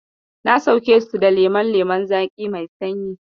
Na sauke su da lemon lemon zaƙi mai sanyi.